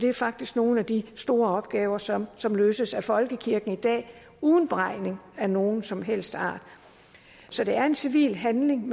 er faktisk nogle af de store opgaver som som løses af folkekirken i dag uden beregning af nogen som helst art så det er en civil handling